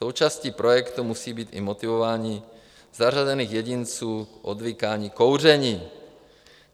Součástí projektu musí být i motivování zařazených jedinců k odvykání kouření.